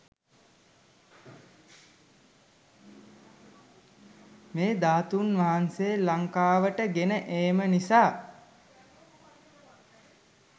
මෙ ධාතුන් වහන්සේ ලංකාවට ගෙන ඒම නිසා